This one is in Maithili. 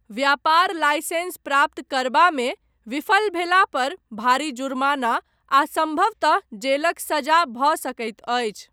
व्यापार लाइसेंस प्राप्त करबा मे विफल भेला पर भारी जुर्माना आ सम्भवतः जेलक सजा भऽ सकैत अछि।